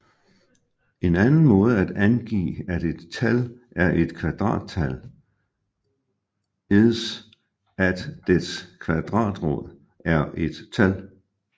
En anden måde at angive at et tal er et kvadrattal is at dets kvadratrod er et tal